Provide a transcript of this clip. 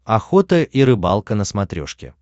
охота и рыбалка на смотрешке